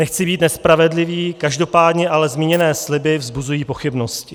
Nechci být nespravedlivý, každopádně ale zmíněné sliby vzbuzují pochybnosti.